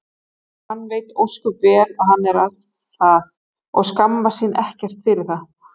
og hann veit ósköp vel að hann er það og skammast sín ekkert fyrir það.